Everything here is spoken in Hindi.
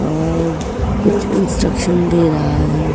अअ कुछ इंस्ट्रक्शन दे रहा है।